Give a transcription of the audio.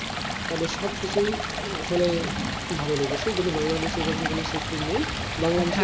তাদের সবকিছুই আসলে ভালো লেগেছে কিন্তু বাংলাদেশে সেরকম কোনো sector নেই, বাংলাদেশে